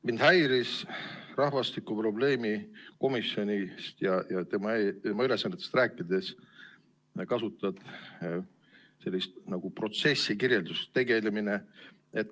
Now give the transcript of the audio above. Mind häiris, et rahvastikukriisi probleemkomisjonist ja tema ülesannetest rääkides sa kasutasid sellist protsessi kirjeldust nagu tegelemine.